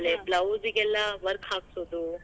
ಆಮ್ಯಾಲೆ blouse ಗೆಲ್ಲಾ work ಹಾಕ್ಸೋದು.